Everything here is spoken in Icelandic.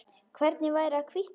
Hvernig væri að hvítta þær?